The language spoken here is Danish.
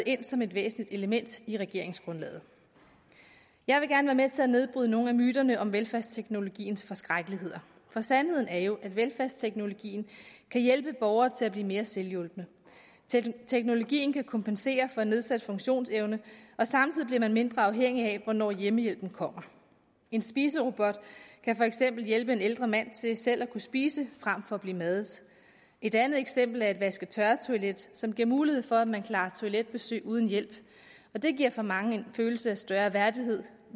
ind som et væsentligt element i regeringsgrundlaget jeg vil gerne være med til at nedbryde nogle af myterne om velfærdsteknologiens forskrækkeligheder for sandheden er jo at velfærdsteknologien kan hjælpe borgere til at blive mere selvhjulpne teknologien kan kompensere for nedsat funktionsevne og samtidig bliver man mindre afhængig af hvornår hjemmehjælpen kommer en spiserobot kan for eksempel hjælpe en ældre mand til selv at kunne spise frem for at blive madet et andet eksempel er et vaske tørre toilet som giver mulighed for at man klarer toiletbesøg uden hjælp og det giver for mange en følelse af større værdighed